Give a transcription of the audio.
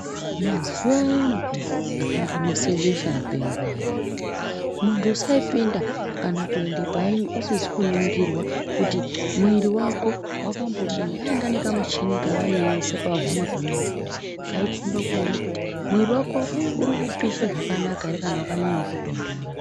Muzuwa ayani peya akambonese besha mupengo ayani muntu usaipinda kana kuende painyi usizi kuningirwa kuti mwiiri wako wakambodini. Vainga nekamuchini kavaiisa pahuma pemuntu kudai keikomba kuone kuti muiri wako urikupisha zvakanaka here kana wakanyanyawo kutondora.